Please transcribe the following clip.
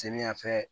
Seni yanfɛ